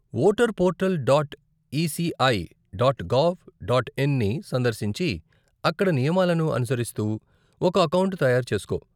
Voter portal dot ECI dot gov dot in ని సందర్శించి, అక్కడ నియమాలను అనుసరిస్తూ ఒక అకౌంట్ తయారు చేస్కో.